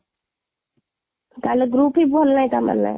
ତା'ହେଲେ group ହିଁ ଭଲ ନାହିଁ ତା'ହେଲେ,